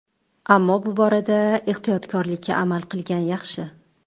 Ammo bu borada ehtiyotkorlikka amal qilgan yaxshi.